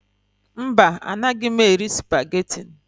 Mba, anaghị m eri supageti.